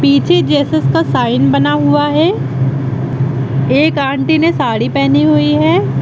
पीछे जीसस का साइन बना हुआ है एक आंटी ने साड़ी पहनी हुई है।